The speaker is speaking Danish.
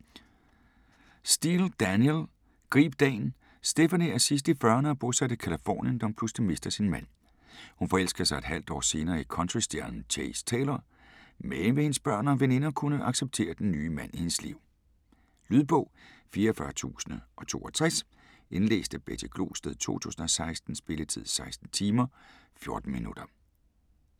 Steel, Danielle: Grib dagen Stephanie er sidst i 40'erne og bosat i Californien, da hun pludselig mister sin mand. Hun forelsker sig et halvt år senere i countrystjernen Chase Taylor, men vil hendes børn og veninder kunne acceptere den nye mand i hendes liv? Lydbog 44062 Indlæst af Betty Glosted, 2016. Spilletid: 16 timer, 14 minutter.